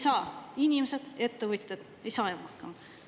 … sest inimesed, ettevõtjad ei saa enam hakkama.